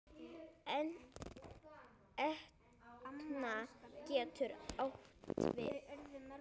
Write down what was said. Etna getur átt við